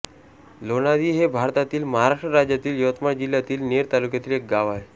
लोणादी हे भारतातील महाराष्ट्र राज्यातील यवतमाळ जिल्ह्यातील नेर तालुक्यातील एक गाव आहे